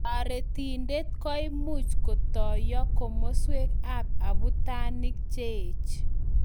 Taritident koimuch kotoyaa kimaswek ab abutanick cheech